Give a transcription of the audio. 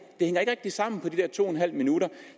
sammen på de der to en halv minut